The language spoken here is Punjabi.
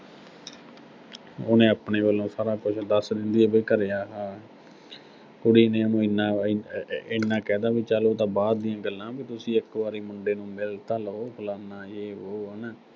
ਉਹਨੇ ਆਪਣੇ ਵੱਲੋਂ ਸਾਰਾ ਕੁਝ ਦੱਸ ਦਿੰਦੀ ਆ ਵੀ ਘਰੇ ਆਹਾ ਕੁੜੀ ਨੇ ਉਹਨੂੰ ਐਨਾ, ਐ ਐ ਅਹ ਐਨਾ ਕਹਿ ਤਾ ਵੀ, ਚਲ ਇਹ ਤਾਂ ਬਾਅਦ ਦੀਆਂ ਗੱਲਾਂ, ਵੀ ਤੁਸੀਂ ਇੱਕ ਵਾਰੀ ਮੁੰਡੇ ਨੂੰ ਮਿਲ ਤਾਂ ਲਓ, ਫਲਾਨਾ ਜੇ ਵੋ ਹਨਾ।